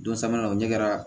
Don sabanan o ɲɛ kɛra